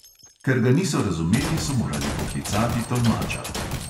Ker ga niso razumeli, so morali poklicati tolmača.